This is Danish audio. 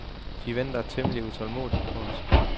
De venter temmelig utålmodigt på os.